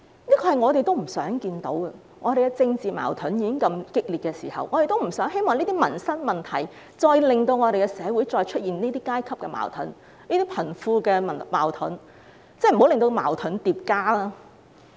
這是我們不想看到的情況，在政治矛盾這樣激烈的時候，我們不希望這些民生問題進一步令社會出現這些階級矛盾和貧富矛盾，不要再令矛盾增加。